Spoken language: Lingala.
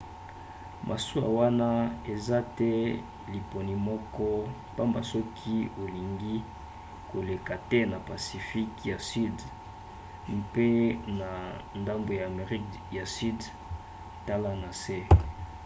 masuwa wana eza te liponi moko pamba soki olingi koleka te na pacifique ya sudi mpe na ndambu ya amerika ya sudi. tala na se